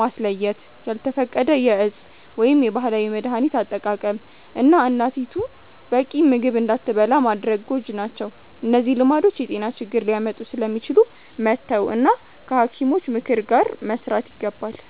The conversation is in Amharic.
ማስለየት፣ ያልተፈቀደ የእፅ ወይም የባህላዊ መድሀኒት አጠቃቀም፣ እና እናቲቱ በቂ ምግብ እንዳትበላ ማድረግ ጎጂ ናቸው። እነዚህ ልማዶች የጤና ችግር ሊያመጡ ስለሚችሉ መተው እና ከሐኪሞች ምክር ጋር መስራት ይገባል።